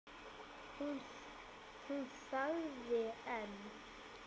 Hún þagði en